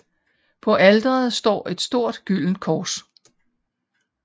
På alteret står et stort gyldent kors